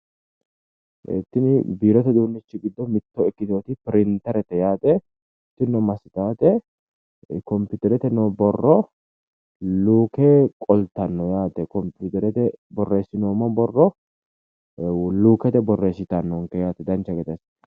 Tini biirote no uduunnichi giddo ikkiteewoti pirintereete yaate tinino massitate kompiterete noo borro luuke qoltanno yaate, kompiturete boorreessinoommo borro lukkete borreessitannonke yaate dancha gede assite.